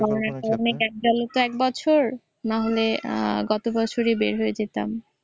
আমার মানে gap গেলো তো এক বছর নাহলে আহ গতবছরই বের হইয়া যাইতাম।